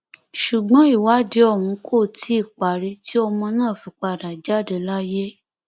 ṣùgbọn ìwádìí ọhún kò tí ì parí tí ọmọ náà fi padà jáde láyé